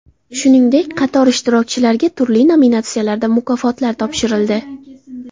Shuningdek, qator ishtirokchilarga turli nominatsiyalarda mukofotlar topshirildi.